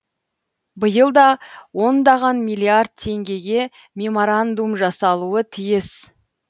биыл да ондаған миллиард теңгеге меморандум жасалуы тиіс